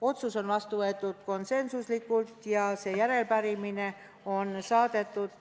Otsus võeti vastu konsensuslikult ja järelepärimine on saadetud.